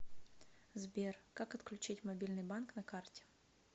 сбер как отключить мобильный банк на карте